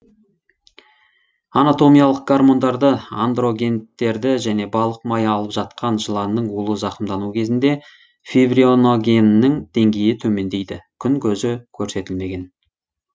анатомиялық гормондарды андрогенттерді және балық майы алып жатқанда жыланның улы зақымдануы кезінде фибриногеннің деңгейі төмендейді күн көзі көрсетілмеген